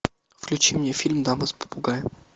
включи мне фильм дама с попугаем